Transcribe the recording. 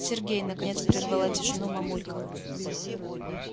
сергей наконец прервала тишину мамулька